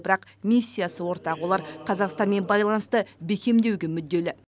бірақ миссиясы ортақ олар қазақстанмен байланысты бекемдеуге мүдделі